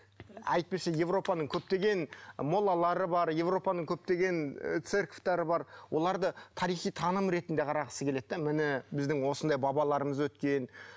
әйтпесе европаның көптеген моллалары бар европаның көптеген ы церковьтары бар оларды тарихи таным ретінде қарағысы келеді де міне біздің осындай бабаларымыз өткен